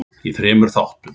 í þremur þáttum.